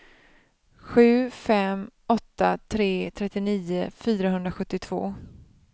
sju fem åtta tre trettionio fyrahundrasjuttiotvå